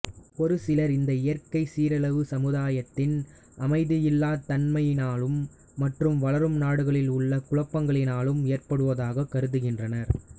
ஒரு சிலர் இந்த இயற்கை சீரழிவு சமுதாயத்தின் அமைதியில்லா தன்மையினாலும் மற்றும் வளரும் நாடுகளில் உள்ள குழப்பங்ககளினாலும் ஏற்படுவதாக கருதுகின்றனர்